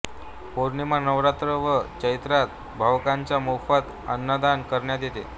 पौर्णिमा नवरात्र व चैत्रात भाविकांना मोफत अन्नदान करण्यात येते